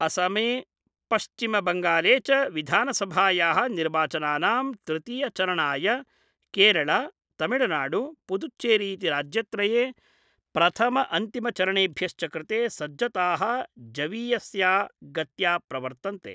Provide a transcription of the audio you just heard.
असमे पश्चिमबंगाले च विधानसभाया: निर्वाचनानां तृतीयचरणाय केरल, तमिलनाडु, पुदुच्चेरीति राज्यत्रये प्रथमअंतिमचरणेभ्यश्च कृते सज्जता: जवीयस्या गत्या प्रवर्तन्ते।